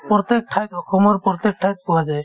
প্ৰত্যেক ঠাইত অসমৰ প্ৰত্যেক ঠাইত পোৱা যায়